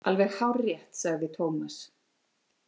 Alveg hárrétt, sagði Tómas.